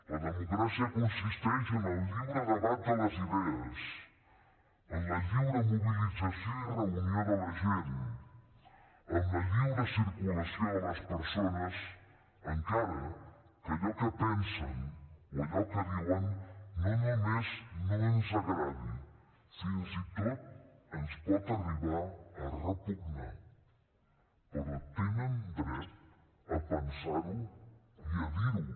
la democràcia consisteix en el lliure debat de les idees en la lliure mobilització i reunió de la gent en la lliure circulació de les persones encara que allò que pensen o allò que diuen no només no ens agradi fins i tot ens pot arribar a repugnar però tenen dret a pensar ho i a dir ho